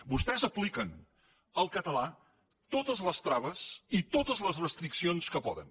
vostès apliquen al català totes les traves i totes les restriccions que poden